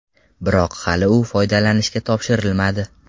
Biroq hali u foydalanishga topshirilmadi.